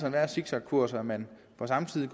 en værre zigzagkurs at man på samme tid